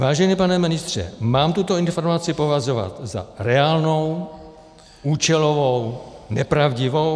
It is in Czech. Vážený pane ministře, mám tuto informaci považovat za reálnou, účelovou, nepravdivou?